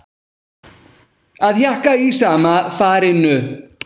Að hjakka í sama farinu